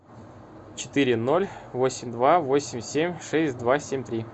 четыре ноль восемь два восемь семь шесть два семь три